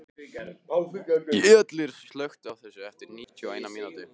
Gellir, slökktu á þessu eftir níutíu og eina mínútur.